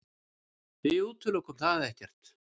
Við útilokum það ekkert.